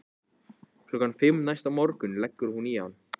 Klukkan fimm næsta morgun leggur hún í hann.